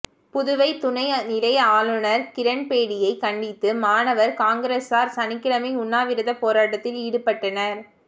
புதுவை துணை நிலை ஆளுநா் கிரண் பேடியை கண்டித்து மாணவா் காங்கிரஸாா் சனிக்கிழமை உண்ணாவிரதப் போராட்டத்தில் ஈடுபட்டனா்